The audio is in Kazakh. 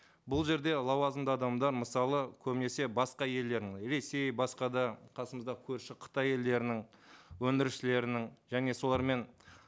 бұл жерде лауазымды адамдар мысалы көбінесе басқа елдердің ресей басқа да қасымыздағы көрші қытай елдерінің өндірушілерінің және солармен